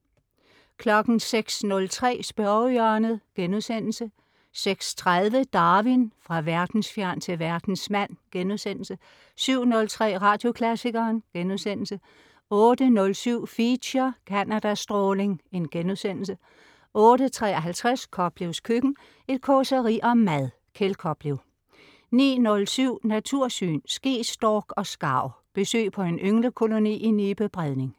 06.03 Spørgehjørnet* 06.30 Darwin: Fra verdensfjern til verdensmand* 07.03 Radioklassikeren* 08.07 Feature: Canada stråling* 08.53 Koplevs køkken. Et causeri om mad. Kjeld Koplev 09.07 Natursyn. Skestork og skarv. Besøg på en ynglekoloni i Nibe Bredning